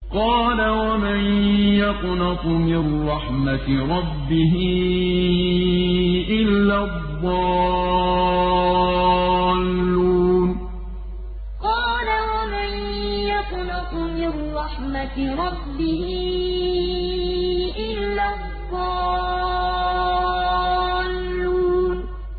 قَالَ وَمَن يَقْنَطُ مِن رَّحْمَةِ رَبِّهِ إِلَّا الضَّالُّونَ قَالَ وَمَن يَقْنَطُ مِن رَّحْمَةِ رَبِّهِ إِلَّا الضَّالُّونَ